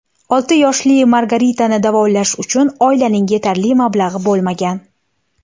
Olti yoshli Margaritani davolash uchun oilaning yetarli mablag‘i bo‘lmagan.